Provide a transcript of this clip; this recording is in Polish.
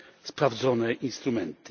sprawdzone instrumenty.